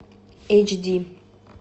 эйч ди